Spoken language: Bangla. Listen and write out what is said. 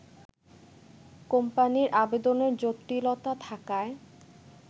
কোম্পানির আবেদনের জটিলতা থাকায়